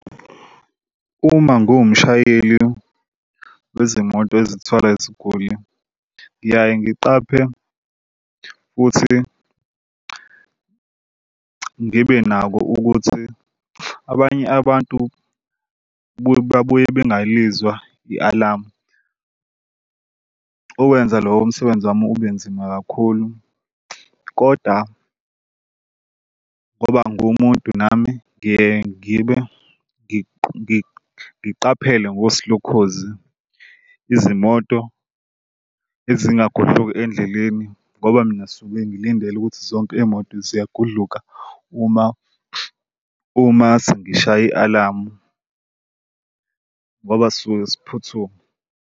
Uma ngumshayeli wezimoto ezithwala iziguli, ngiyaye ngiqaphe futhi ngibe nakho ukuthi abanye abantu buye bengalizwa i-alamu. Ukwenza lowo msebenzi wami ube nzima kakhulu kodwa ngoba ngumuntu nami ngiye ngibe ngiqaphele ngosi lokhozi izimoto ezingagudluki endleleni ngoba mina suke ngilindele ukuthi zonke iy'moto ziyagudluka uma uma sengishaye i-alamu ngoba sisuke siphuthuma.